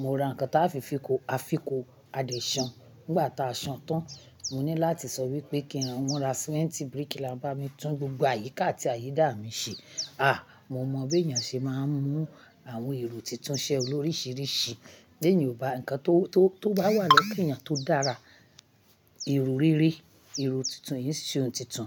mo ra nǹkan táa fi fi kó àfikò adẹ̀ṣan nígbà tá a san tán. Mo ní láti sọ wípé kí wọn ra símẹ́ńtì bíríkìlà bá mi tún gbogbo àyíká àti àyídà mi ṣe. Ah mo máa bí èèyàn ṣe má mú àwọn èrò tuntun ṣe o lóríṣiríṣi. Bí ènìyàn ò bá ǹkan tó, tó, tó bá wà lọ́wọ́ kí ẹ̀yàn tó dára. Èrò rere èrò tuntun iṣẹ́ ohun tuntun.